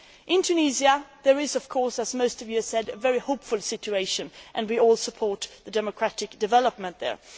In Tunisia, there is, of course, as most of you have said, a very hopeful situation and we all support the democratic development there.